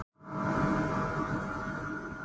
Inga Dís.